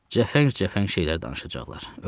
Cəfəng-cəfəng şeylər danışacaqlar.